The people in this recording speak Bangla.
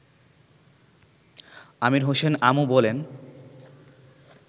আমির হোসেন আমু বলেন